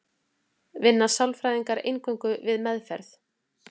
vinna sálfræðingar eingöngu við meðferð